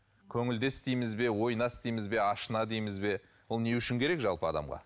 көңілдес дейміз бе ойнас дейміз бе ашына дейміз бе ол не үшін керек жалпы адамға